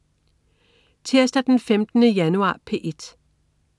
Tirsdag den 15. januar - P1: